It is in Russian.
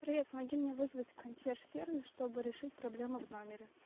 привет помоги мне вызвать консьерж сервис чтобы решить проблему в номере